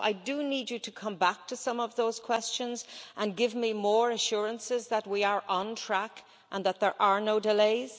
So, I do need you to come back to some of those questions and give me more assurances that we are on track and that there are no delays.